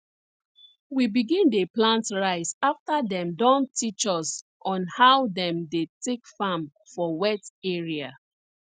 we begin dey plant rice afta dem Accepted teach us on how dem dey take farm for wet area